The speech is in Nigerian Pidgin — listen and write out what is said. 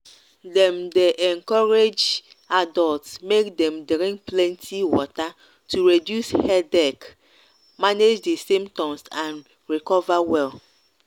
dem dey encourage adults make dem drink plenty water to reduce headache manage di symptoms and recover well.